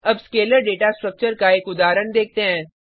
अब scalar data structure का एक उदाहरण देखते हैं